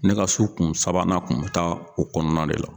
Ne ka su kun sabanan tun bɛ taa o kɔnɔna de la